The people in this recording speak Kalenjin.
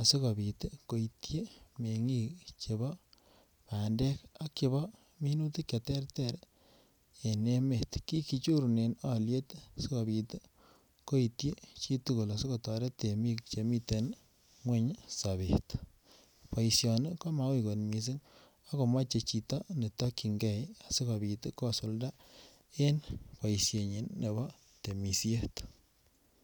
asikopit koityin mengik chebo bandek ak chebo minutik che terter en emet. Kigee nyorunen olyet koityin chitugul asikotoret temik chemiten ngweny sobet. Boisioni ko ma uu kot missing ako moche chito ne tokyigee sikopit kosulda en boishenyin nebo temisiet